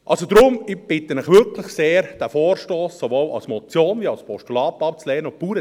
Also deshalb bitte ich Sie wirklich sehr, diesen Vorstoss sowohl als Motion als auch als Postulat abzulehnen.